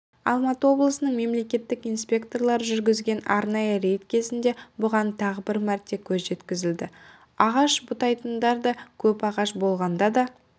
алматы облысының мемлекеттік инспекторлары жүргізген арнайы рейд кезінде бұған тағы бір мәрте көз жеткізілді ағаш бұтайтындар да көп ағаш болғанда да